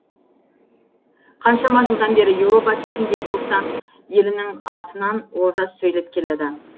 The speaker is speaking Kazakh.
қаншама жылдан бері еуропа төрінде бостан елінің атынан олжас сөйлеп келеді